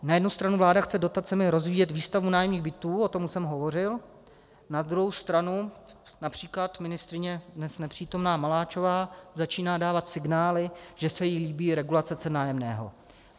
Na jednu stranu vláda chce dotacemi rozvíjet výstavbu nájemních bytů, o tom jsem hovořil, na druhou stranu například ministryně, dnes nepřítomná, Maláčová začíná dávat signály, že se jí líbí regulace cen nájemného.